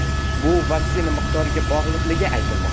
Bu vaksina miqdoriga bog‘liqligi aytilmoqda.